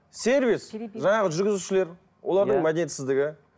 сервис жаңағы жүргізушілер олардың мәдениетсіздігі